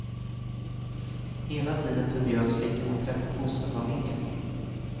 Hela tiden förbjöds flickan att träffa fosterfamiljen.